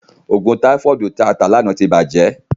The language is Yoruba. Òògùn táífọ̀dù tí a tà lánàá ti bàjẹ́.